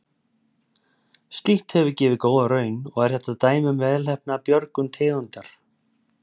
Slíkt hefur gefið góða raun og er þetta dæmi um velheppnaða björgun tegundar.